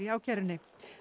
ákærunni